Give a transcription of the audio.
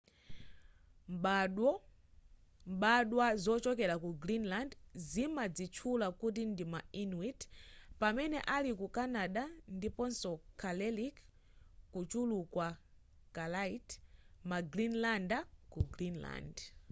mbadwa zochokera ku greenland zimadzitchula kuti ndima inuit pamene aliku canada ndiponso kalaalleq kuchuluka kalaallit ma greenlander ku greenland